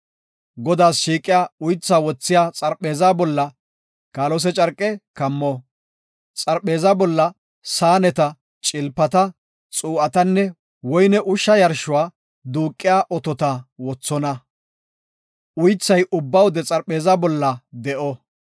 “Godaas shiiqiya uytha wothiya xarpheezaa bolla kaalose carqe kammo. Xarpheeza bolla saaneta, cilpata, xuu7atanne woyne ushsha yarshuwa duuqiya otota wothona. Uythay ubba wode xarpheeza bolla de7o.